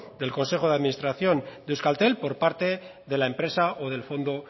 del consejo de administración de euskaltel por parte de la empresa o del fondo